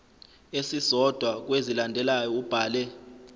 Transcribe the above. esisodwa kwezilandelayo ubhale